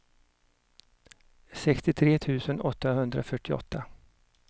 sextiotre tusen åttahundrafyrtioåtta